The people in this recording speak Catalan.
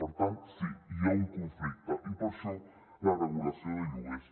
per tant sí hi ha un conflicte i per això la regulació de lloguers